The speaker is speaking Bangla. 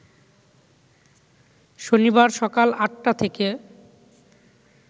শনিবার সকাল ৮টা থেকে